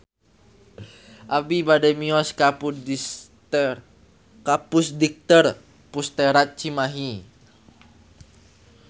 Abi bade mios ka Pusdikter Pusterad Cimahi